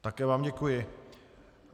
Také vám děkuji.